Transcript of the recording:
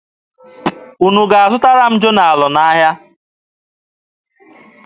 Unu ga-azụtara m jonalụ n'ahịa?